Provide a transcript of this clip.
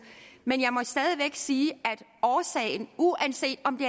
men jeg må stadig væk sige at uanset om det